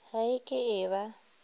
ga e ke e ba